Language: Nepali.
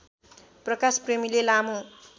प्रकाश प्रेमीले लामो